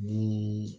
Ni